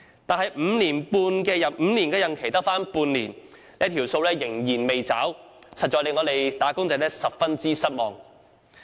但是，其5年任期只餘下半年，承諾仍然未有兌現，實在令"打工仔"十分失望。